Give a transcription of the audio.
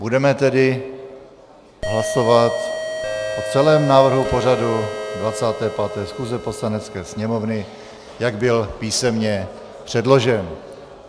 Budeme tedy hlasovat o celém návrhu pořadu 25. schůze Poslanecké sněmovny, jak byl písemně předložen.